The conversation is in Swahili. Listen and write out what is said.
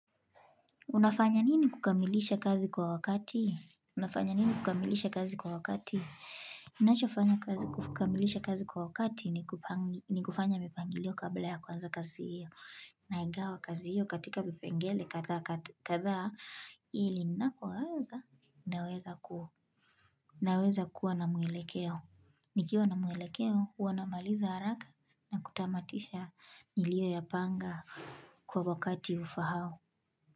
Unafanya nini kukamilisha kazi kwa wakati? Unafanya nini kukamilisha kazi kwa wakati? Ninachofanya kukamilisha kazi kwa wakati ni kufanya mipangilio kabla ya kuanza kazi hiyo. Naigawa kazi hiyo katika vipengele kadhaa hili ninapoanza naweza kuwa na mwelekeo. Nikiwa na mwelekeo huwa namaliza haraka na kutamatisha nilioyapanga kwa wakati ufahao.